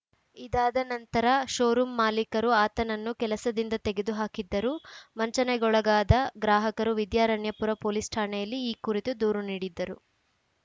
ಇದಾದ ನಂತರ ಶೋರೂಂ ಮಾಲೀಕರು ಆತನನ್ನು ಕೆಲಸದಿಂದ ತೆಗೆದು ಹಾಕಿದ್ದರು ವಂಚನೆಗೊಳಗಾದ ಗ್ರಾಹಕರು ವಿದ್ಯಾರಣ್ಯಪುರ ಪೊಲೀಸ್‌ ಠಾಣೆಯಲ್ಲಿ ಈ ಕುರಿತು ದೂರು ನೀಡಿದ್ದರು